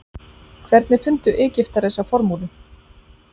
hvernig fundu egyptar þessa formúlu